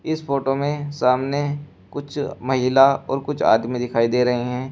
इस फोटो में सामने कुछ महिला और कुछ आदमी दिखाई दे रहे हैं।